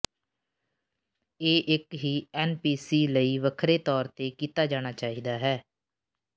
ਇਹ ਇਕ ਹੀ ਐਨਪੀਸੀ ਲਈ ਵੱਖਰੇ ਤੌਰ ਤੇ ਕੀਤਾ ਜਾਣਾ ਚਾਹੀਦਾ ਹੈ